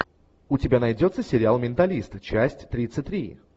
у тебя найдется сериал менталист часть тридцать три